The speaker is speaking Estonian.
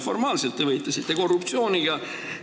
Formaalselt te võitlesite korruptsiooniga.